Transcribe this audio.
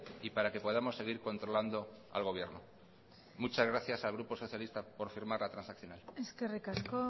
y para que podamos seguir controlando al gobierno muchas gracias al grupo socialista por firmar la transaccional eskerrik asko